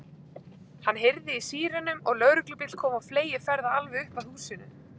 Hann heyrði í sírenum og lögreglubíll kom á fleygiferð alveg upp að húsinu.